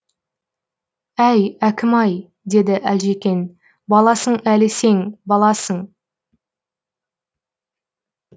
әй әкім ай деді әлжекең баласың әлі сен баласың